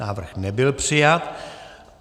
Návrh nebyl přijat.